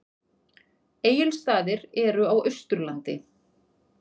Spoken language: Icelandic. Egilsstaðir eru á Austurlandi.